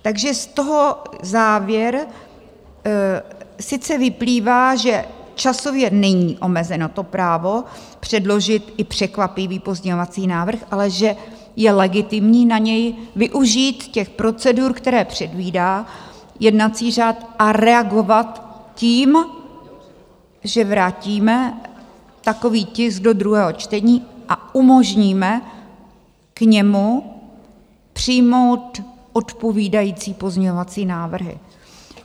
Takže z toho závěr sice vyplývá, že časově není omezeno to právo předložit i překvapivý pozměňovací návrh, ale že je legitimní na něj využít těch procedur, které předvídá jednací řád, a reagovat tím, že vrátíme takový tisk do druhého čtení a umožníme k němu přijmout odpovídající pozměňovací návrhy.